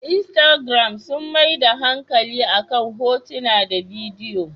Instagiram sun maida hankali akan hotuna da bidiyo.